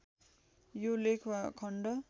यो लेख वा खण्ड